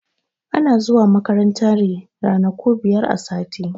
Ana zuwa makaranta ne ranaku biyar a sati.